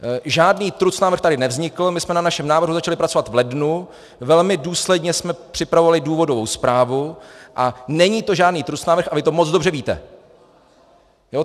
Žádný trucnávrh tady nevznikl, my jsme na našem návrhu začali pracovat v lednu, velmi důsledně jsme připravovali důvodovou zprávu a není to žádný trucnávrh a vy to moc dobře víte!